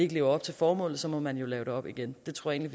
leve op til formålet så må man jo lave det om igen det tror jeg